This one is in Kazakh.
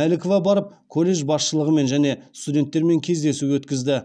малікова барып колледж басшылығымен және студенттермен кездесу өткізді